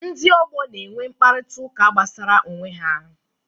Ndị ọgbọ na-enwe mkparịta ụka gbasara onwe ha.